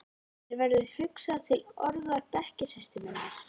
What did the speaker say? Mér verður hugsað til orða bekkjarsystur minnar.